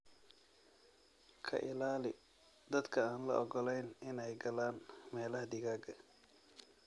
Ka ilaali dadka aan la ogolayn inay galaan meelaha digaaga.